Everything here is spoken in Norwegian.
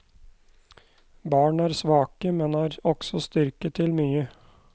Barn er svake, men har også styrke til mye.